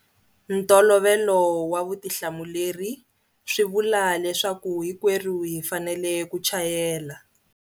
Ntolovelo wa vutihlamuleri swi vula leswaku hinkwerhu hi fanele ku chayela.